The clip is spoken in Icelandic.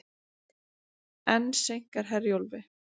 Enn seinkar Herjólfi